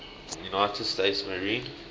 united states marine